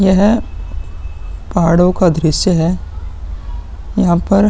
यह पहाड़ो का दृश्य है। यहाँ पर --